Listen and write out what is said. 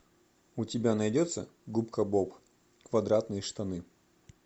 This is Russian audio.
у тебя найдется губка боб квадратные штаны